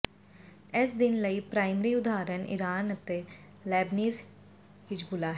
ਇਸ ਦਿਨ ਲਈ ਪ੍ਰਾਇਮਰੀ ਉਦਾਹਰਣ ਇਰਾਨ ਅਤੇ ਲੈਬਨੀਜ਼ ਹਿਜਬੁੱਲਾ ਹੈ